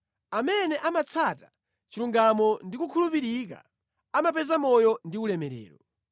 Amene amatsata chilungamo ndi kukhulupirika, amapeza moyo ndi ulemerero.